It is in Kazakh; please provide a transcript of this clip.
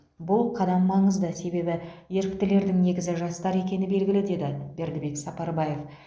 бұл қадам маңызды себебі еріктілердің негізі жастар екені белгілі деді бердібек сапарбаев